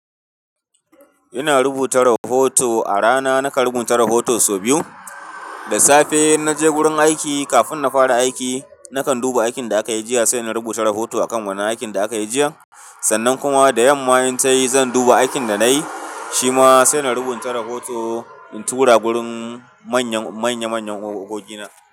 Ina rubuta rahoto a rana nakan rubuta rahoto sau biyu. Da safe in naje wurin aiki kafin na fara aiki nakan duba aikin da aka yi jiya sai na rubuta rahoto a kan wannan aikin da aka yi jiya. Sannan kuma da yamma in tayi zan duba aikin da nayi shima sai na rubuta rahoto in tura wurin manya manyan ogogi na.